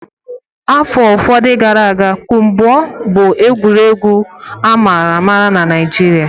Afọ ụfọdụ gara aga kpụmpoo bụ egwuregwu ama ama na Nigeria